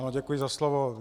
Ano, děkuji za slovo.